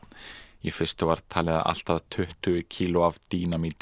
í fyrstu var talið að allt að tuttugu kíló af